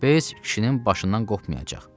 Bez kişinin başından qopmayacaq.